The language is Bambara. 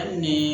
Hali ni